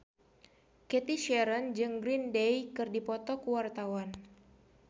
Cathy Sharon jeung Green Day keur dipoto ku wartawan